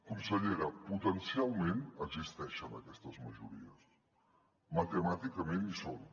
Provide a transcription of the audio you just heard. consellera potencialment existeixen aquestes majories matemàticament hi són